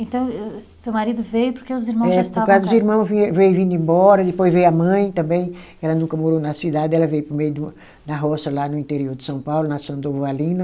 Então êh, êh, seu marido veio porque os irmão já estavam. É, por causa dos irmão vinhe veio vindo embora, depois veio a mãe também, ela nunca morou na cidade, ela veio para o meio de uma, da roça lá no interior de São Paulo, na São Durvalina.